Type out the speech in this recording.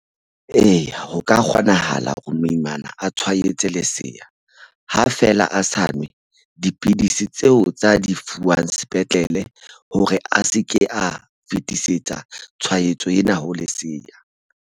Eya, ho ka kgonahala hore moimana a tshwaetse leseya ha feela a sa nwe dipidisi tseo tsa di fuwang sepetlele hore a se ke a fetisetsa tshwaetso ena ho lesea.